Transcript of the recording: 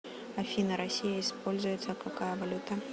афина россия используется какая валюта